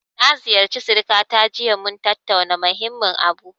Na ziyarci sirikata jiya, mun tattauna muhimmin abu.